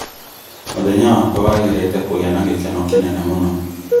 Mũthenya wakwa wagĩrĩte kũgĩa na gĩkeno kĩnene mũno.